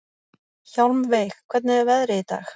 Hjálmveig, hvernig er veðrið í dag?